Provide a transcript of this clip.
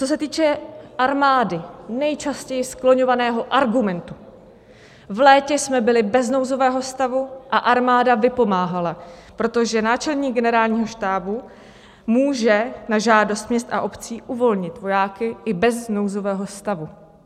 Co se týče armády, nejčastěji skloňovaného argumentu: v létě jsme byli bez nouzového stavu a armáda vypomáhala, protože náčelník Generálního štábu může na žádost měst a obcí uvolnit vojáky i bez nouzového stavu.